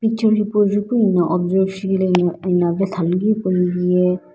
picture hipo ju pu ena observe shi la ena vatha lu gui hipo ye.